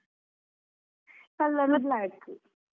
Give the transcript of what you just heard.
Black.